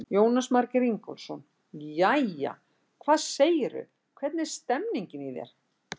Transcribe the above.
Jónas Margeir Ingólfsson: Jæja, hvað segirðu, hvernig er stemmingin í þér?